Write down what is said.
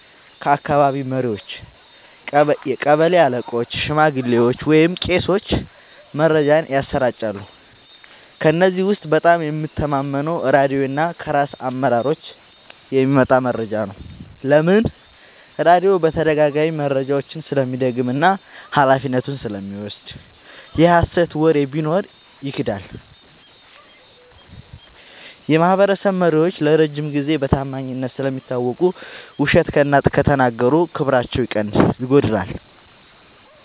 ከአካባቢ መሪዎች – ቀበሌ አለቆች፣ ሽማግሌዎች ወይም ቄሶች መረጃን ያሰራጫሉ። ከእነዚህ ውስጥ በጣም የምተማመነው ራድዮ እና ከራስ አመራሮች የሚመጣ መረጃ ነው። ለምን? · ራድዮ በተደጋጋሚ መረጃውን ስለሚደግም እና ኃላፊነቱን ስለሚወስድ። የሀሰት ወሬ ቢኖር ይክዳል። · የማህበረሰብ መሪዎች ለረጅም ጊዜ በታማኝነት ስለሚታወቁ፣ ውሸት ከተናገሩ ክብራቸው ይጎዳል።